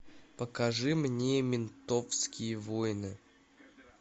покажи мне ментовские войны